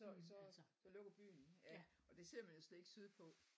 Så så lukker byen ja og det ser vi næsten ikke sydpå